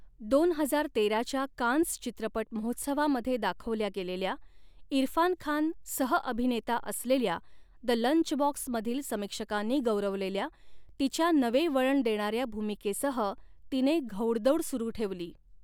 दोन हजार तेराच्या कान्स चित्रपट महोत्सवामध्ये दाखवल्या गेलेल्या, इरफान खान सह अभिनेता असलेल्या द लंचबॉक्समधील, समीक्षकांनी गौरवलेल्या, तिच्या नवे वळण देणाऱ्या भूमिकेसह तिने घोडदौड सुरु ठेवली.